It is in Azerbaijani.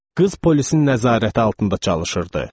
Qız polisin nəzarəti altında çalışırdı.